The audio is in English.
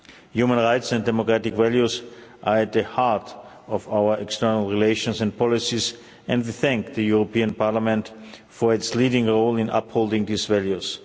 Human rights and democratic values are at the heart of our external relations and policies and I thank the European Parliament for its leading role in upholding these values.